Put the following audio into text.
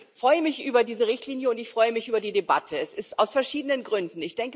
Ich freue mich über diese Richtlinie, und ich freue mich über die Debatte, und zwar aus verschiedenen Gründen.